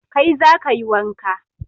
Kai za ka yi wanka